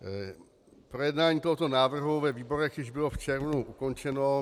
Projednání tohoto návrhu ve výborech již bylo v červnu ukončeno.